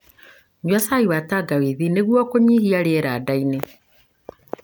Nyua cai wa tangawithi nĩguo kũnyihia rĩera ndainĩ.